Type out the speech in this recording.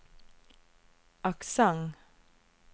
aksent